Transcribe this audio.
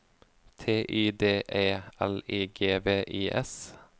T Y D E L I G V I S